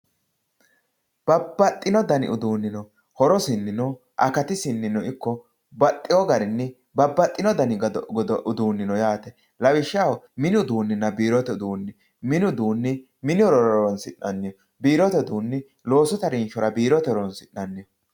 Babbaxxino dani uduuni no horosininno akatisinino ikko babbaxxino dani uduuni no yaate lawishshaho mini uduuninna biirote uduuni mini uduuni mini horora horonsi'nanniho biirote uduuni biirote loosu harinshora horonsi'nanniho.